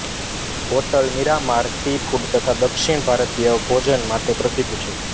hotel Miramar seafood તથા દક્ષિણ ભારતીય ભોજન માટે પ્રસિદ્ધ છે